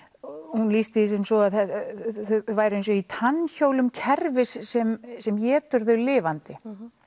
hún lýsti því sem svo að þau væru eins og í tannhjólum kerfis sem sem étur þau lifandi